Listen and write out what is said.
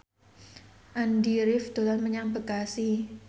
Andy rif dolan menyang Bekasi